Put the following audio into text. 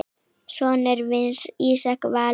Sonur hans er Ísar Valur.